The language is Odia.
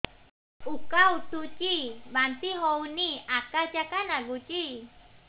ଉକା ଉଠୁଚି ବାନ୍ତି ହଉନି ଆକାଚାକା ନାଗୁଚି